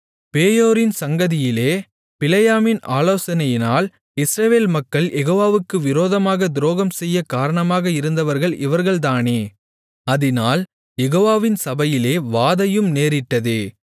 பேயோரின் சங்கதியிலே பிலேயாமின் ஆலோசனையினால் இஸ்ரவேல் மக்கள் யெகோவாவுக்கு விரோதமாகத் துரோகம்செய்யக் காரணமாக இருந்தவர்கள் இவர்கள்தானே அதினால் யெகோவாவின் சபையிலே வாதையும் நேரிட்டதே